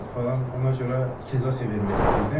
Ona görə utilizasiya vermək istəyirdim.